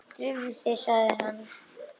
Drífðu þig, sagði hann.